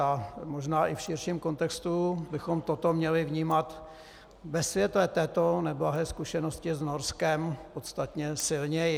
A možná i v širším kontextu bychom toto měli vnímat ve světle této neblahé zkušenosti s Norskem podstatně silněji.